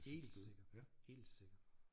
Helt sikkert helt sikkert